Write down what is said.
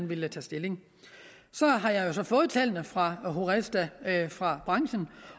ville tage stilling så har jeg jo så fået tallene fra horesta fra branchen